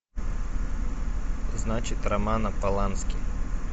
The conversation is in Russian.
значит романа полански